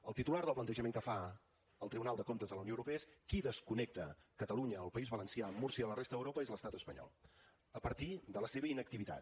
el titular del plantejament que fa el tribunal de comptes de la unió europea és qui desconnecta catalunya el país valencià múrcia de la resta d’europa és l’estat espanyol a partir de la seva inactivitat